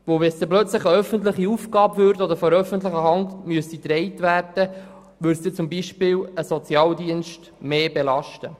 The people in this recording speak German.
Würde plötzlich eine öffentliche Aufgabe daraus oder müsste diese plötzlich von der öffentlichen Hand getragen werden, würde beispielsweise ein Sozialdienst mehr belastet.